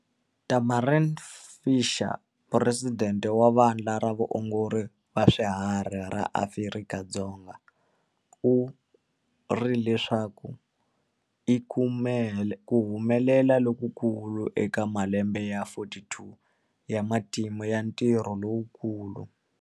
Tamarin Fisher, Puresidente wa Vandla ra Vaongori va Swiharhi ra Afrika-Dzonga, u ri leswi i ku humelela lokukulu eka malembe ya 42 ya matimu ya ntirho lowukulu.